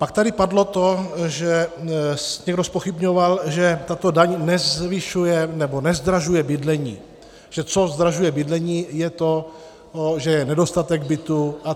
Pak tady padlo to, že někdo zpochybňoval, že tato daň nezvyšuje nebo nezdražuje bydlení, že co zdražuje bydlení, je to, že je nedostatek bytů atd.